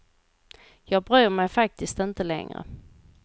Jag bryr mig faktiskt inte längre.